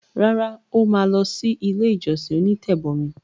Rárá, ó ma lọ sí “ ilé-ìjọsìn onítẹ̀bọmi”.